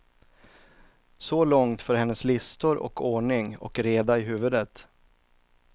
Så långt för hennes listor och ordning och reda i huvudet.